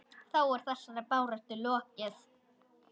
Þá er þessari baráttu lokið.